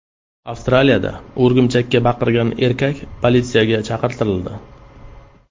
Avstraliyada o‘rgimchakka baqirgan erkak politsiyaga chaqirtirildi.